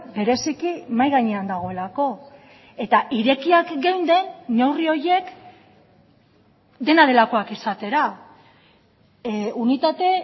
bereziki mahai gainean dagoelako eta irekiak geunden neurri horiek dena delakoak izatera unitate